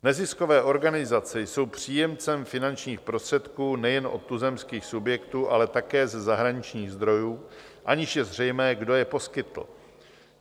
Neziskové organizace jsou příjemcem finančních prostředků nejen od tuzemských subjektů, ale také ze zahraničních zdrojů, aniž je zřejmé, kdo je poskytl.